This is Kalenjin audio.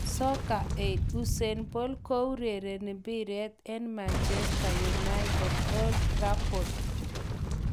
Soccer Aid:Usain Bolt koureren mbiret eng Manchester United Old Trafford.